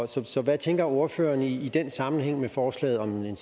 så så hvad tænker ordføreren i den sammenhæng med forslaget om en